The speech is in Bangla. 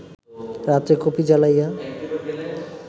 রাত্রে কুপি জ্বালাইয়া